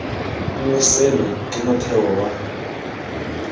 nngwe seno ke motheo wa